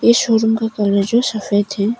इस शोरूम का कलर जो सफेद है।